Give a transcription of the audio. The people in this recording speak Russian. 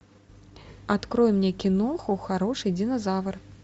открой мне киноху хороший динозавр